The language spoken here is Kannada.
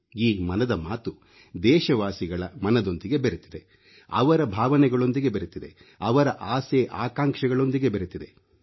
ಈ ಮನದ ಮಾತು ದೇಶವಾಸಿಗಳ ಮನದೊಂದಿಗೆ ಬೆರೆತಿದೆ ಅವರ ಭಾವನೆಗಳೊಂದಿಗೆ ಬೆರೆತಿದೆ ಅವರ ಆಸೆ ಆಕಾಂಕ್ಷೆಗಳೊಂದಿಗೆ ಬೆರೆತಿದೆ